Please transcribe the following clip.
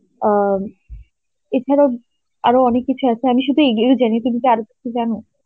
অ্যাঁ এছাড়াও আরো অনেক কিছু আছে আমি শুধু এই এগুলোই জানি. তুমি তো আরো কিছু জানো?